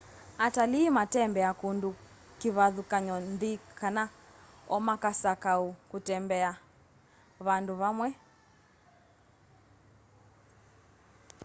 atalĩĩ matembea kũndũ kĩvathũkany'o nthĩ kana omakasakũa kũtembea vandũ vamwe